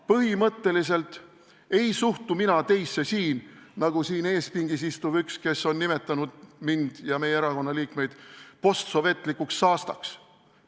Põhimõtteliselt ei suhtu mina teisse nii, nagu üks siin ees pingis istuv isik, kes on nimetanud mind ja meie erakonna liikmeid postsovetlikuks saastaks.